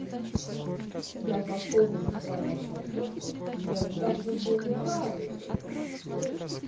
даже особенно странное сейчас то что мне даже были рады о